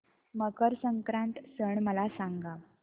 मकर संक्रांत सण मला सांगा